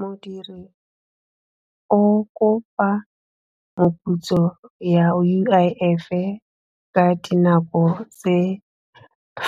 Modiri o kopa moputso ya U_I_F e ka dinako tse